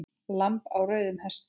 Lamb á rauðum hesti